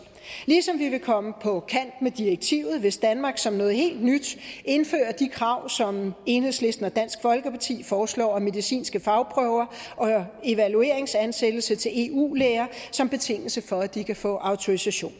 ligesom vi vil komme på kant med direktivet hvis danmark som noget helt nyt indfører de krav som enhedslisten og dansk folkeparti foreslår nemlig medicinske fagprøver og evalueringsansættelse til eu læger som betingelse for at de kan få autorisation